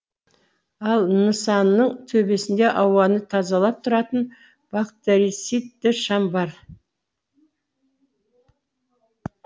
ал нысанның төбесінде ауаны тазалап тұратын бактерицидті шам бар